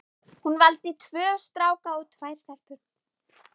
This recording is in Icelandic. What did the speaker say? Hún valdi tvo stráka og tvær stelpur.